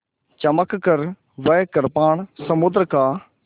चमककर वह कृपाण समुद्र का